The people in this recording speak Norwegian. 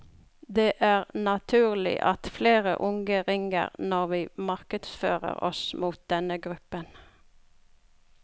Det er naturlig at flere unge ringer når vi markedsfører oss mot denne gruppen.